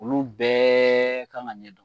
Olu bɛɛ kan ka ɲɛdɔn.